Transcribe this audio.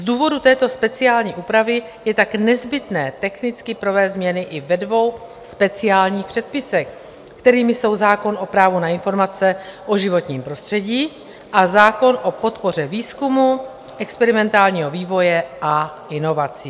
Z důvodu této speciální úpravy je tak nezbytné technicky provést změny i ve dvou speciálních předpisech, kterými jsou zákon o právu na informace o životním prostředí a zákon o podpoře výzkumu, experimentálního vývoje a inovací.